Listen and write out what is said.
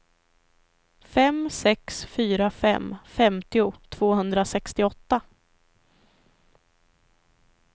fem sex fyra fem femtio tvåhundrasextioåtta